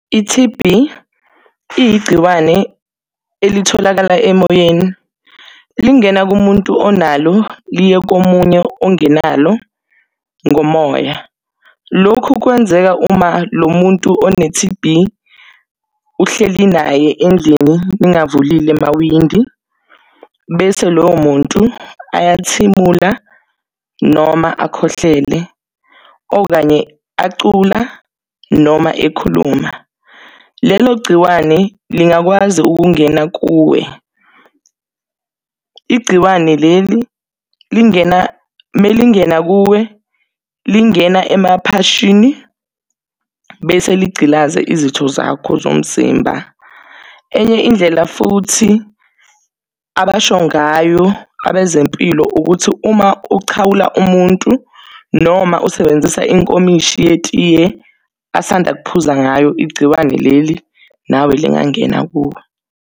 I-T_B iyigciwane elitholakala emoyeni. Lingena kumuntu onalo, liye komunye ongenalo ngomoya. Lokhu kwenzeka uma lo muntu one-T_B uhleli naye endlini ningavulile amawindi, bese loyo muntu ayathimula noma akhohlele, okanye acula noma ekhuluma. Lelo gciwane lingakwazi ukungena kuwe. Igciwane leli melingena kuwe, lingena emaphashini, bese ligcilaze izitho zakho zomzimba. Enye indlela futhi abasho ngayo abezempilo, ukuthi uma uchawula umuntu noma usebenzisa inkomishi yetiye asanda ukuphuza ngayo, igciwane leli, nawe lingangena kuwe.